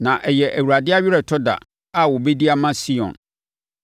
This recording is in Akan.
Na ɛyɛ Awurade aweretɔ da a ɔbɛdi ama Sion.